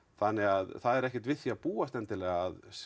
þannig að það er ekkert við því að búast að